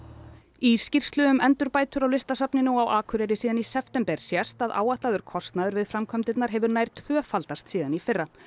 í skýrslu um endurbætur á Listasafninu á Akureyri síðan í september sést að áætlaður kostnaður við framkvæmdirnar hefur nær tvöfaldast síðan í fyrra